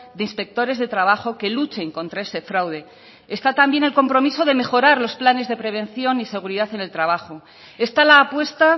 de inspectores de trabajo que luchen contra ese fraude está también el compromiso de mejorar los planes de prevención y seguridad en el trabajo está la apuesta